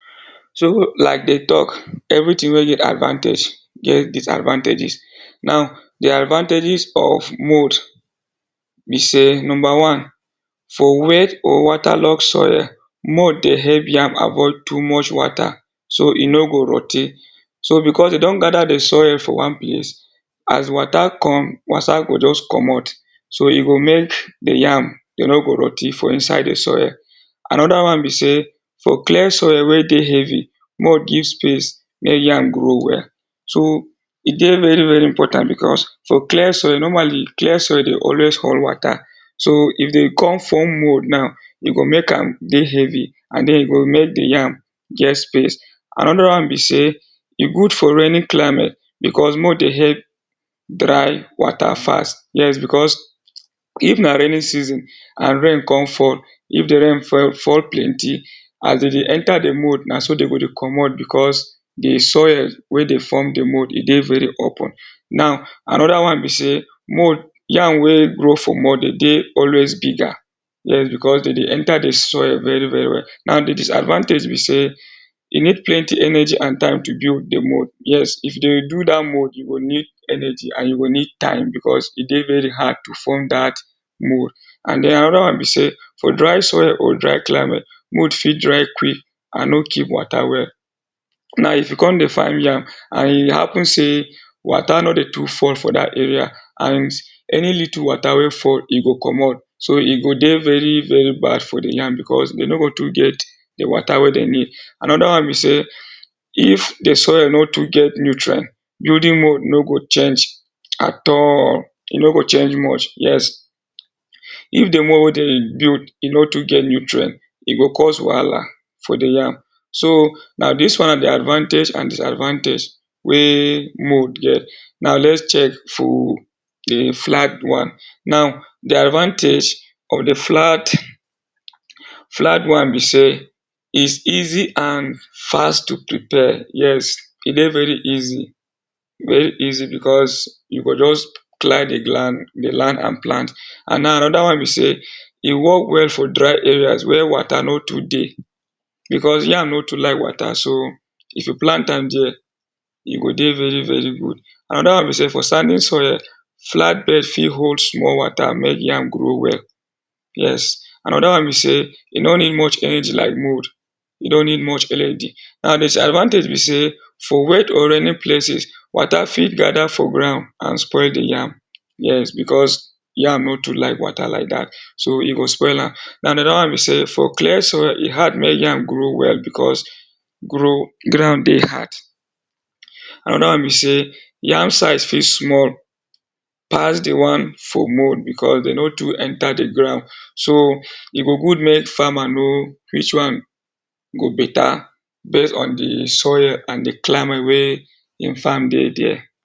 So like dey talk everything wey get advantage get disadvantages, now dere advantages of mould be sey number one, for wet or waterlogged soil mould dey help yam avoid too much water so e no go rottie so because dey don gather dey soil for one place, as water come, water go just comot so e go make the yam, e no go rot ten for inside dey soil. Another one be sey for clay soil wey dey heavy mould give space make yam grow well, so e dey very very important because for clay soil normally clay soil dey always hold water so if dey come form mould now e go make am dey heavy and then e go make dey yam get space. Another one be sey e good for raining climate because mould dey help dry water fast. Yes, because if na raining season and rain come fall if dey rain fe fall plenty as dey dey enter dey mould na so dey go dey comot because dey soil wey dey form the mould, e dey very open. Now another one sey mould, yam wey grow for mould dey dey always bigger yes because dem dey enter dey soil very very well. Now dey disadvantage be sey you need plenty energy and time to build deyy mould, yes if you dey do dat mould you go need energy and you go need time becaus e dey very hard to form dat mould. And then another one be sey for dry soil or dry climate mould fit dry quick and no keep water well. Now if you come dey find yam and e happen sey water no dey too fall for that area and any litle water wey fall e go comot so e go dey very very bad for the yam because dem no go too get water wey dem need. Another one be sey if the soil no too get nutrient, building mould no go change at allll, e no change much, yes, If dey mould wey dem dey build e no too get nutrient, e go cause wahala for dey yam so na dis one be advantage and diasadvantage wey mould get. Now lets check full dey flag one now then advantage of flat flag one be sey is easy and fast to prepare, yes e dey very easy. very easy because you go just clear dey gland de land and plant. And now another one be sey e work well for dry areas where water no too dey because yam no to like water so if you plant am dia, e go dey very very good. Another one be sey for sandy soil flat bed fit hold small water make yam grow well, yes. Another one be sey e no need much energy like mould, e no need much elergy, now dey disadvantage be sey for wet or rainy places water fit gather for ground and spoil the yam, yes because yam no too like water like dat so e go spoil am. Another one be sey clay soil e hard make yam grow well because grow, ground dey hard. Another one be sey yam size fit small pass dey one for mould because dey no too enter the ground, so e go good make farmer know which one go better base on dey soil and dey climate wey im farm dey dia.